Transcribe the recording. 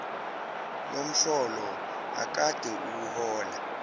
yomholo akade ewuhola